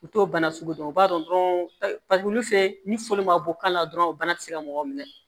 U t'o bana sugu dɔn u b'a dɔn paseke wulu fɛ ni foyi ma bɔ kan na dɔrɔn bana tɛ se ka mɔgɔ minɛ